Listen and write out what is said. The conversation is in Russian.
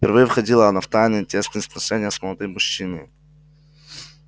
впервые входила она в тайные тесные сношения с молодым мужчиною